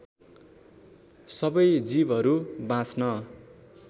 सबै जीवहरू बाँच्न